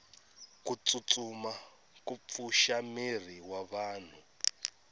kutsutsuma kupfusha miri wavanhu